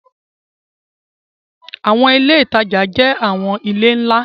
Awọn ile itaja jẹ awọn ile nla